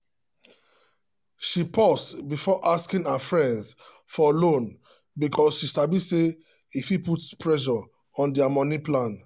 she pause before asking her friends for loan because she sabi say e fit put pressure on their money plan.